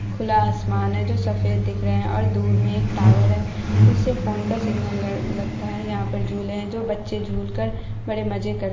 खुला आसमान है जो सफेद दिख रहा है और दूर में एक टावर है जिससे फोन का सिग्नल लगता है। यहाँ पे झूले हैं जो बच्चे झूलकर बड़े मजे कर--